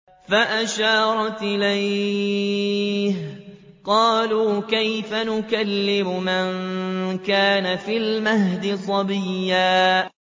فَأَشَارَتْ إِلَيْهِ ۖ قَالُوا كَيْفَ نُكَلِّمُ مَن كَانَ فِي الْمَهْدِ صَبِيًّا